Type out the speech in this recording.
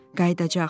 Qayıdacaq.